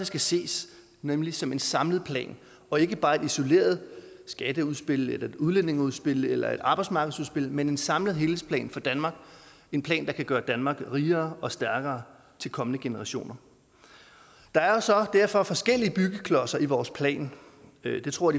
skal ses nemlig som en samlet plan og ikke bare et isoleret skatteudspil eller udlændingeudspil eller arbejdsmarkedsudspil men en samlet helhedsplan for danmark en plan der kan gøre danmark rigere og stærkere til kommende generationer der er jo så derfor forskellige byggeklodser i vores plan det tror